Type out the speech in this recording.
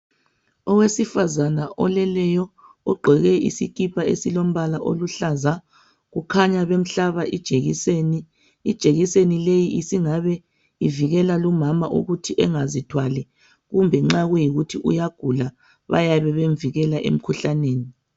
Owesifazane oleleyo ogqoke isikipa esilombala oluhlaza kukhanya bemhlaba ijekiseni. Ijekiseni leyi isingabe ivikela lumama ukuthi engazithwali kumbe nxa kuyikuthi uyagula bayabe bemvikela emkhuhlaneni.